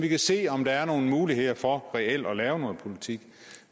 kan se om der er nogle muligheder for reelt at lave noget politik